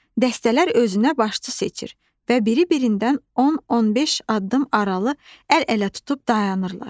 Dəstələr özünə başçı seçir və biri birindən 10-15 addım aralı əl-ələ tutub dayanırlar.